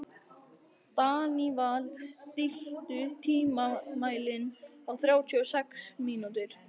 Daníval, stilltu tímamælinn á þrjátíu og sex mínútur.